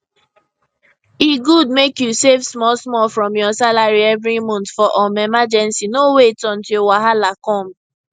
e good mek you save smallsmall from your salary every month for um emergency no wait until wahala come